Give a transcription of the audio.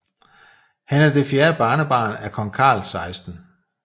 Han er det fjerde barnebarn af kong Carl 16